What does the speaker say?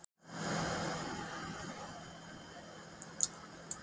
Hafsteinn Hauksson: Og hvað fannst þér flottast?